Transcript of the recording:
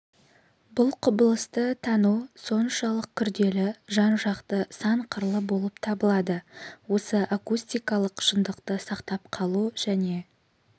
бұл құбылысты тану соншалық күрделі жан-жақты сан қырлы болып табылады осы акустикалық шындықты сақтап қалу және